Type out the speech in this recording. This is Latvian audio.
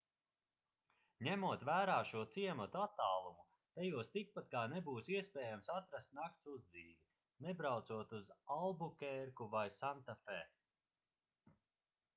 ņemot vērā šo ciematu attālumu tajos tikpat kā nebūs iespējams atrast nakts uzdzīvi nebraucot uz albukērku vai santafe